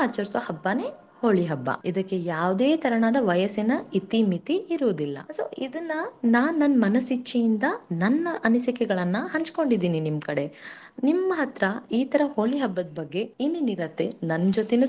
ಕಡೆನು ಆಚರಿಸೋ ಹಬ್ಬನೇ ಹೋಳಿ ಹಬ್ಬ ಇದಕ್ಕೆ ಯಾವುದೇ ತರಹದ ವಯಸ್ಸಿನ ಇತಿಮಿತಿ ಇರುವುದಿಲ್ಲ so ಇದನ್ನ ನಾನ್ ಮನಸ್ ಇಚ್ಛೆಯಿಂದ ನನ್ನ ಅನಿಸಿಕೆಗಳನ್ನು ಹಂಚಿಕೊಂಡಿದ್ದೇನೆ ನಿಮ್ಮ ಕಡೆ ನಿಮ್ಮ ಹತ್ತಿರ ಈತರ ಹೋಳಿ ಹಬ್ಬದ ಬಗ್ಗೆ ಏನೇನನಿರತೆ.